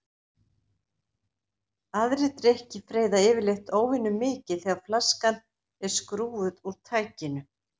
Aðrir drykkir freyða yfirleitt óvenjumikið þegar flaskan er skrúfuð úr tækinu.